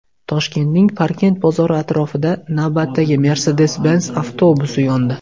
Toshkentning Parkent bozori atrofida navbatdagi Mercedes-Benz avtobusi yondi.